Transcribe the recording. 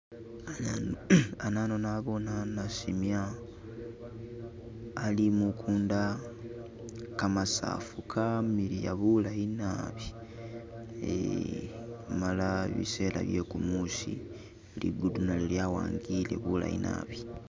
Anano naboone nasimya ali mukunda, kamasaafu kamiliya bulayi naabi eeh, amala bisela bye kumuusi ligulu nalyo lyawangiyile bulayi naabi.